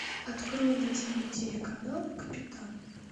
открой на тв телеканал капитан